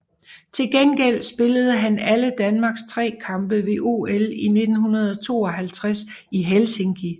Til gengæld spillede han alle Danmarks tre kampe ved OL 1952 i Helsinki